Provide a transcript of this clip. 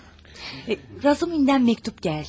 Razumihindən məktub gəldi.